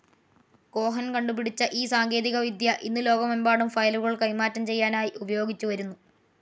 Cohen കണ്ടുപിടിച്ച ഈ സാങ്കേതികവിദ്യ ഇന്നു ലോകമെമ്പാടും ഫയലുകൾ കൈമാറ്റം ചെയ്യാനായി ഉപയോഗിച്ചു വരുന്നു.